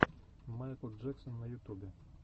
майкл джексон на ютюбе